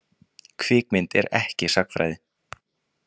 Kvikmynd er ekki sagnfræði.